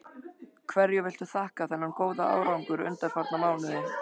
Hverju viltu þakka þennan góða árangur undanfarna mánuði?